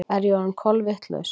Er ég orðin kolvitlaus?